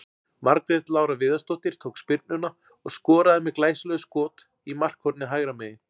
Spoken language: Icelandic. Margrét Lára Viðarsdóttir tók spyrnuna og skoraði með glæsilegu skot í markhornið hægra megin.